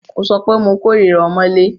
Mo sọ wípé mo kòrira ọmọ́lé.